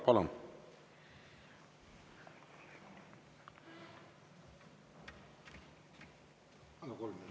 Palun!